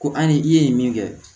Ko an ni i ye min kɛ